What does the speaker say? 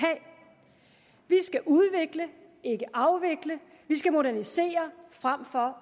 skal udvikle ikke afvikle vi skal modernisere frem for